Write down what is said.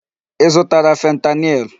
Ị zụtara fentanyl?